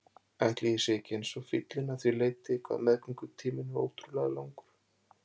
Ætli ég sé ekki eins og fíllinn að því leyti hvað meðgöngutíminn er ótrúlega langur.